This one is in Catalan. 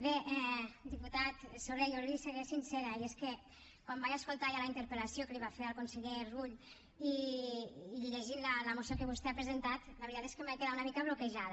bé diputat soler jo li seré sincera i és que quan vaig escoltar ja la interpel·lació que li va fer al conseller rull i llegint la moció que vostè ha presentat la veritat és que em vaig quedar una mica bloquejada